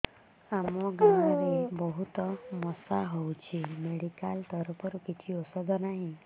ଆମ ଗାଁ ରେ ବହୁତ ମଶା ହଉଚି ମେଡିକାଲ ତରଫରୁ କିଛି ଔଷଧ ନାହିଁ